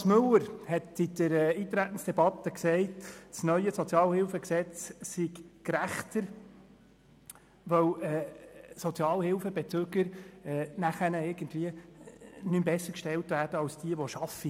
Grossrat Mathias Müller hat in der Eintretensdebatte gesagt, das neue SHG sei gerechter, weil Sozialhilfebezüger nachher nicht mehr besser gestellt werden als diejenigen, welche arbeiten.